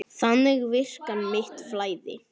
Þannig virkar mitt flæði.